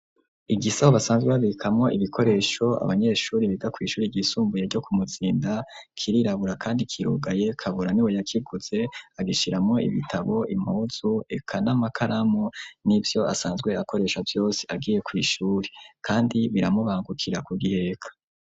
Igisaho basanzwe babikamwo ibikoresho abanyeshuri biga kw'ishuri ryisumbuye ryo ku Muzinda kirirabura kandi kirugaye. Kabura niwe yakiguze agishiramwo ibitabo, impuzu, eka n'amakaramu n'ivyo asanzwe akoresha vyose agiye kw'ishuri, kandi biramubangukira kubiheka.